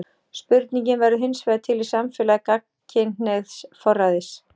Spurningin verður hinsvegar til í samfélagi gagnkynhneigðs forræðis.